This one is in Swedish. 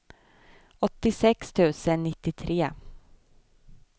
åttiosex tusen nittiotre